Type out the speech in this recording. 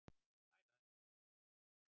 Bæ bæ!